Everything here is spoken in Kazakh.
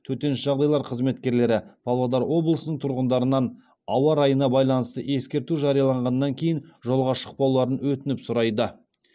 төтенше жағдайлар қызметкерлері павлодар облысының тұрғындарынан ауа райына байланысты ескерту жарияланғаннан кейін жолға шықпауларын өтініп сұрайды